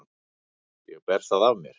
Ég ber það af mér.